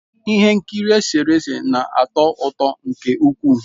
Ihe nkiri eserese na-atọ ụtọ nke ukwuu.